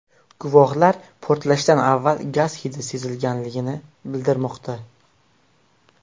Guvohlar portlashdan avval gaz hidi sezilganini bildirmoqda.